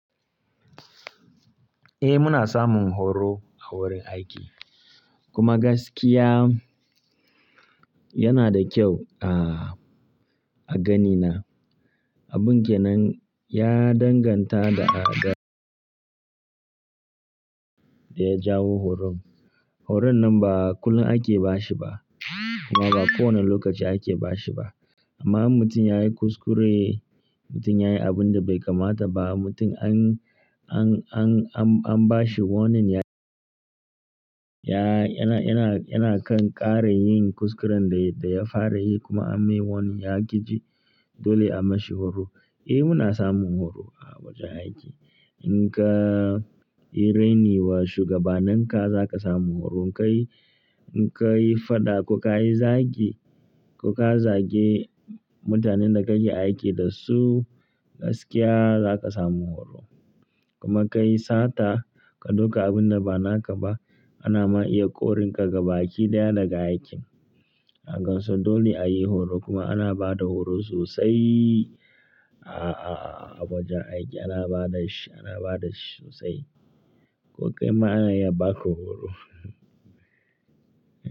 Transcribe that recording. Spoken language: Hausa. Eh muna samun horo a wurin aiki. Kuma gaskiya yana da kyau a, a ganina. Abun kenan ya danganta da, da, da ya jawo horon. Horon nan ba kullum ake ba shi ba, kuma ba kowane lokaci ake ba shi ba. Amma in mutum yayi kuskure, mutum yayi abun da bai kamata ba, mutum an, an, an, an, an ba shi warning ya, ya, yana, yana, yana kan ƙara yin kuskuren da, da ya fara yi kuma an mai warning ya ƙi ji, dole a mashi horo. Eh muna samun horo a wajen aiki. In ka yi raini wa shugabananka za ka samu horo. In ka yi, in ka yi faɗa ko ka yi zagi, ko ka zage mutanen da kake aiki da su, gaskiya za ka samu horo. Kuma ka yi sata, ka ɗauka abun da ba naka ba, ana ma iya ƙorinka gaba aiki ɗaya daga aikin. Hakan so dole a yi horo kuma ana ba da horo sosai a, a, a wajen aiki, ana ba da shi, ana ba da shi sosai. Ko kai ma ana iya ba ka horo.